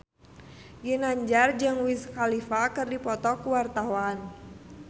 Ginanjar jeung Wiz Khalifa keur dipoto ku wartawan